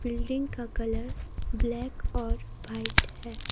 Building का colour black और white है।